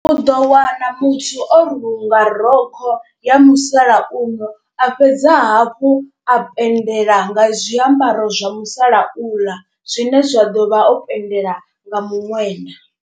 U ḓo wana muthu o runga rokho ya musalauno, a fhedza hafhu a penndela nga zwiambaro zwa musalauḽa zwine zwa ḓo vha o penndela nga muṅwenda.